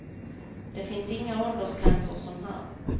Det finns inga åldersgränser som här.